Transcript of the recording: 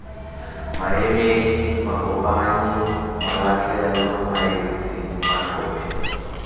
maemedi makopanyi malatlhelwa maetsi matlhophi